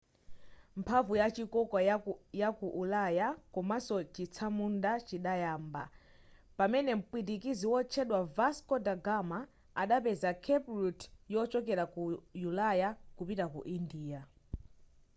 mphamvu yachikoka yaku ulaya komanso chitsamunda chidayamba pamene mpwitikizi wotchedwa vasco da gama adapeza cape route yochokera ku ulaya kupita ku india